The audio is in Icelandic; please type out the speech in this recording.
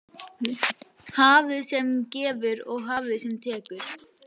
Hafið sem gefur og hafið sem tekur.